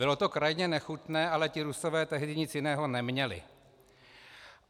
Bylo to krajně nechutné, ale ti Rusové tehdy nic jiného neměli.